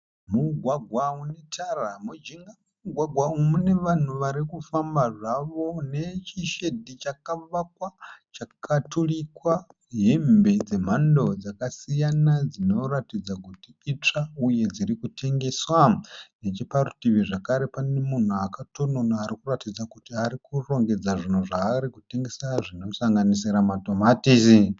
Mugwagwa une tara. Mujinga memugwagwa uyu mune vanhu vari kufamba zvavo nechishedhi chakavakwa chakaturikwa hembe dzemhando dzakasiyana dzinoratidza kuti itsva uye dziri kutengeswa. Necheparutivi zvakare pane munhu akatononona ari kuratidza kuti ari kurongedza zvinhu zvaari kutengesa zvinosanganisira matomatisi.